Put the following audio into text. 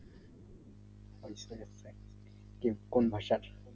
কি কোন